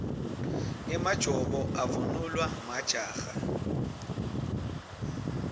emajobo avunulwa majaha